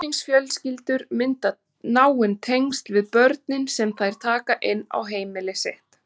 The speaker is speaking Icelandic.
Stuðningsfjölskyldur mynda náin tengsl við börnin sem þær taka inn á heimili sitt.